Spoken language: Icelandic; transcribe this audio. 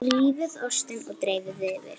Rífið ostinn og dreifið yfir.